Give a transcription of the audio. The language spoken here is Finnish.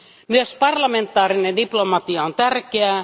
Myös parlamentaarinen diplomatia on tärkeää.